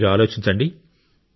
మీరు ఆలోచించండి